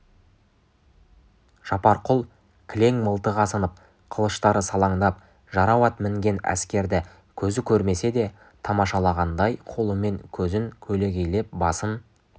жапарқұл кілең мылтық асынып қылыштары салаңдап жарау ат мінген әскерді көзі көрмесе де тамашалағандай қолымен көзін көлегейлеп басын